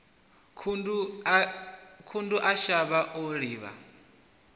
khundu a shavha o livha